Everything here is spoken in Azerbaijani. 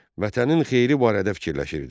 Vətənin xeyri barədə fikirləşirdi.